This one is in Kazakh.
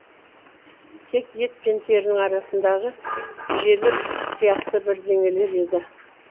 тек ет пен терінің арасындағы желік сияқты бірдеңелер еді